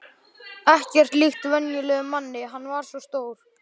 Ekkert líkt venjulegum manni, hann var svo stór.